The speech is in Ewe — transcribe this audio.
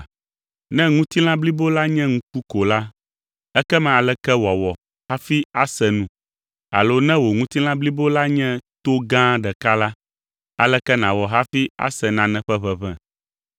Ne ŋutilã blibo la nye ŋku ko la, ekema aleke wòawɔ hafi ase nu? Alo ne wò ŋutilã blibo la nye to gã ɖeka la, aleke nàwɔ hafi ase nane ƒe ʋeʋẽ?